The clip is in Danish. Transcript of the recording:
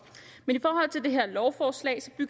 men i det her lovforslag